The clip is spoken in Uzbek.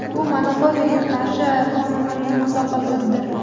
Bu monopoliyaga qarshi qonunlarga mutlaqo ziddir.